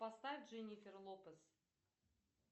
поставь дженифер лопес